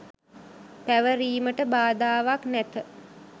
පැවරීමට බාධාවක් නැත